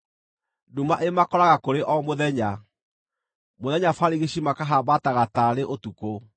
Nduma ĩmakoraga kũrĩ o mũthenya; mũthenya barigici makahambataga taarĩ ũtukũ.